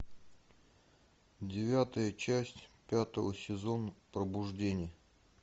девятая часть пятого сезона пробуждение